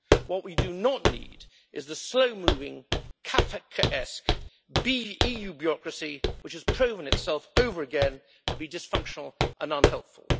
What we do not need is the slow moving, Kafkaesque EU bureaucracy which has proven itself over and over again to be dysfunctional and unhelpful.